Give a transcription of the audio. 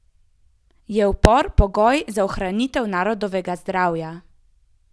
Je upor pogoj za ohranitev narodovega zdravja?